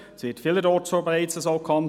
Vielerorts wird das bereits so gehandhabt.